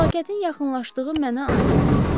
Fəlakətin yaxınlaşdığı mənə aydın oldu.